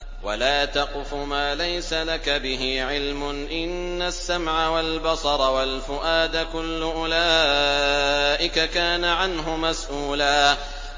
وَلَا تَقْفُ مَا لَيْسَ لَكَ بِهِ عِلْمٌ ۚ إِنَّ السَّمْعَ وَالْبَصَرَ وَالْفُؤَادَ كُلُّ أُولَٰئِكَ كَانَ عَنْهُ مَسْئُولًا